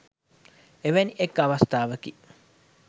එවැනි එක් අවස්ථාවකි